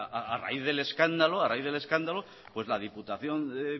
a raíz del escándalo la diputación de